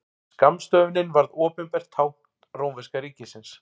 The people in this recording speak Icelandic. Skammstöfunin varð opinbert tákn rómverska ríkisins.